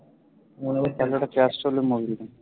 মনে হয় কানাডার এর মন্দির